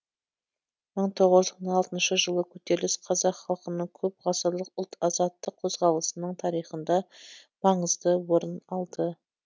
мың тоғыз жүз он алтыншы жылы көтеріліс қазақ халқының көп ғасырлық ұлт азаттық қозғалысының тарихында маңызды орын алды